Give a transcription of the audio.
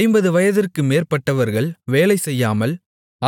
ஐம்பது வயதிற்கு மேற்பட்டவர்கள் வேலைசெய்யாமல்